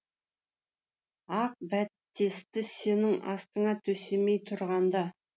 ақ бәтесті сенің астыңа төсемей тұрғанда